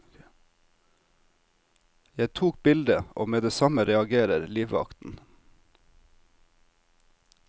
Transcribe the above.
Jeg tok bildet, og med det samme reagerer livvakten.